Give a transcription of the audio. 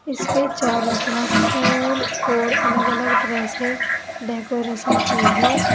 इसके चारों तरफ फूल और अलग अलग तरह से डेकोरेशन की है।